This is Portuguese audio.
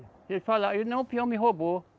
Se ele falar, não, o peão me roubou.